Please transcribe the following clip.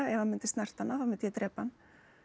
ef hann myndi snerta hana þá myndi ég drepa hann